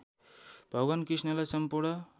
भगवान कृष्ण सम्पूर्ण